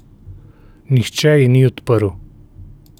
Nihče ji ni odprl.